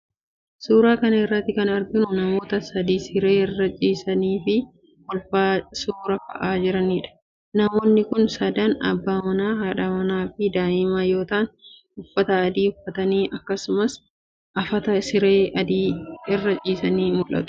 Suura kana irratti kan arginu kun, namoota sadi siree irra ciisanii fi kolfaa suura ka'aa jiraniidha. Namoonni kun sadan:abbaa manaa ,haadha manaa fi daa'ima yoo ta'an ,uffata adii uffatanii akkasumas afata siree adii irra ciisanii mul'atu.